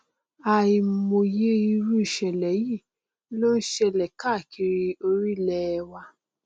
àìmọye irú ìṣẹlẹ yìí ló n ṣẹlẹ káàkiri orílẹ wa